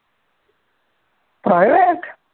private